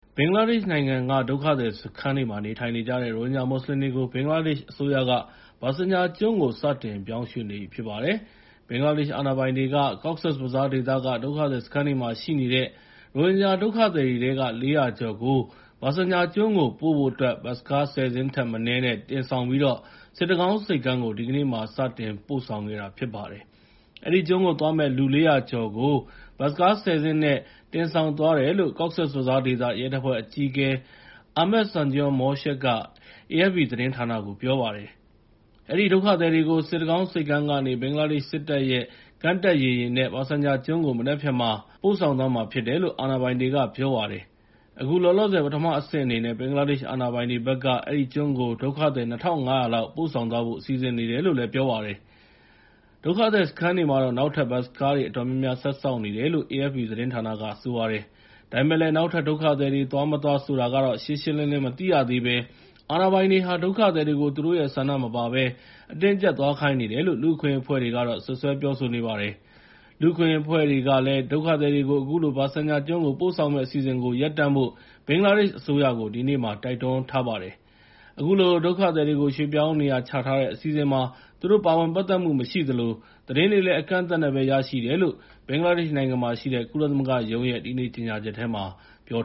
ဘင်္ဂလားဒေ့ရှ်နိုင်ငံက ဒုက္ခသည်စခန်းတွေမှာ နေထိုင်နေကြတဲ့ ရိုဟင်ဂျာမွတ်ဆလင်တွေကို ဘင်္ဂလားဒေ့ရှ်အစိုးရက Bhasan Char ကျွန်းကို စတင်ပြောင်းရွှေ့နေပြီဖြစ်ပါတယ်။ ဘင်္ဂလားဒေ့ရှ်အာဏာပိုင်တွေက Cox’s Bazar ဒေသက ဒုက္ခသည်စခန်းတွေမှာရှိတဲ့ ရိုဟင်ဂျာဒုက္ခသည်တွေထဲက ၄၀၀ ကျော်ကို ဘာဆန်ချာကျွန်းကို ပို့ဖို့အတွက် ဘတ်စ်ကား ၁၀ စင်းထက်မနည်းနဲ့ တင်ဆောင်ပြီး စစ်တကောင်းဆိပ်ကမ်းကို ဒီကနေ့မှာ စတင်ပို့ဆောင်ခဲ့တာဖြစ်ပါတယ်။ အဲဒီကျွန်းကိုသွားမယ့် လူ ၄၀၀ ကျော်ကို ဘတ်စ်ကား ၁၀ စင်းနဲ့ တင်ဆောင်သွားတယ်လို့ Cox’s Bazar ဒေသ ရဲတပ်ဖွဲ့အကြီးအကဲ Ahmed Sunjur Morshed က AFP သတင်းဌာနကို ပြောပါတယ်။ အဲဒီဒုက္ခသည်တွေကို စစ်တကောင်းဆိပ်ကမ်းကနေ ဘင်္ဂလားဒေ့ရှ်စစ်တပ်ရဲ့ ကမ်းတက်စစ်ရေယာဉ်နဲ့ ဘာဆန်ချာကျွန်းကို မနက်ဖြန် သောကြာနေ့မှာ ပို့ဆောင်သွားမှာဖြစ်တယ်လို့ အာဏာပိုင်တွေက ပြောပါတယ်။ အခုလောလောဆယ် ပထမအဆင့်အနေနဲ့ ဘင်္ဂလားဒေ့ရှ်အာဏာပိုင်တွေဘက်က အဲဒီကျွန်းကို ဒုက္ခသည် ၂,၅၀၀ လောက် ပို့ဆောင်သွားဖို့ စီစဉ်နေတယ်လို့လည်း ပြောပါတယ်။ ဒုက္ခသည်စခန်းတွေမှာတော့ နောက်ထပ် ဘတ်စ်ကားတွေ အတော်များများဆက်စောင့်နေတယ်လို့ AFP က ပြောပါတယ်။ ဒါပေမဲ့ နောက်ထပ်ဒုက္ခသည်တွေ သွား၊ မသွားဆိုတာတော့ ရှင်းရှင်းလင်းလင်း မသိရသေးဘဲ အာဏာပိုင်တွေဟာ ဒုက္ခသည်တွေကို သူတို့ရဲ့ဆန္ဒမပါဘဲ အတင်းအကြပ် သွားခိုင်းနေတယ်လို့ လူ့အခွင့်အရေးအဖွဲ့တွေက စွပ်စွဲပြောဆိုနေပါတယ်။ ဒုက္ခသည်တွေကို အခုလို ဘာဆန်ချာကျွန်းကို ပို့ဆောင်မယ့်အစီအစဉ်ကို ရပ်တန့်ဖို့ လူ့အခွင့်အရေးအဖွဲ့တွေကလည်း ဘင်္ဂလားဒေ့ရှ်အစိုးကို ဒီကနေ့ တိုက်တွန်းလိုက်ပါတယ်။ အခုလိုဒုက္ခသည်တွေကို ရွှေ့ပြောင်းနေရချထားတဲ့အစီအစဉ်မှာ သူတို့ပါဝင်ပတ်သက်မှုမရှိသလို သတင်းတွေလည်း အကန့်အသတ်နဲ့ပဲ ရရှိတယ်လို့ ဘင်္ဂလားဒေ့ရှ်နိုင်ငံမှာ ရှိတဲ့ ကုလသမဂ္ဂရုံးရဲ့ ဒီနေ့ကြေငြာချက်ထဲမှာ ပြော